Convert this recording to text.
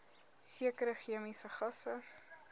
sekere chemiese gasse